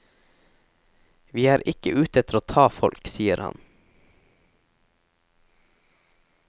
Vi er ikke ute etter å ta folk, sier han.